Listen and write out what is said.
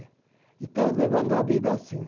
E tá levando a vida assim.